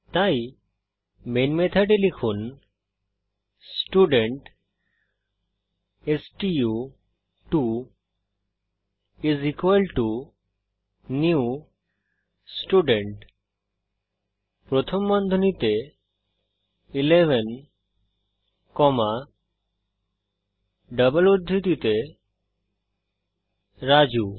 তাই মেন মেথডে লিখুন স্টুডেন্ট স্টু2 নিউ স্টুডেন্ট প্রথম বন্ধনীতে 11 কমা ডাবল উদ্ধৃতিতে রাজু